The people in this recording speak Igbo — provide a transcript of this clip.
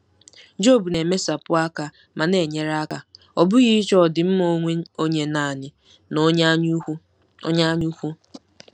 Job na-emesapụ aka ma na-enyere aka, ọ bụghị ịchọ ọdịmma onwe onye nanị na onye anyaukwu. onye anyaukwu.